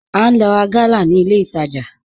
À n lò rá gàlà ní ilẹ̀ ìtajà